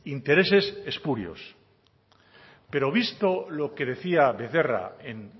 intereses espurios pero visto lo que decía becerra en